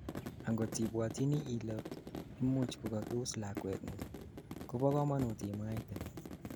angot ibwotyini ile imuch kokakius lakwetngung, kobo kamanut imwaite